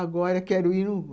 Agora quero ir, não vou.